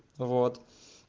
вот